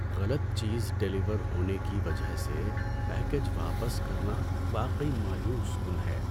غلط چیز ڈیلیور ہونے کی وجہ سے پیکیج واپس کرنا واقعی مایوس کن ہے۔